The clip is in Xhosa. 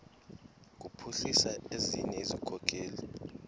kuphuhlisa ezinye izikhokelo